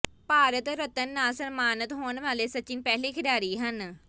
ਭਾਰਤ ਰਤਨ ਨਾਲ ਸਨਮਾਨਤ ਹੋਣ ਵਾਲੇ ਸਚਿਨ ਪਹਿਲੇ ਖਿਡਾਰੀ ਹਨ